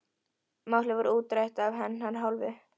Málið var útrætt af hennar hálfu.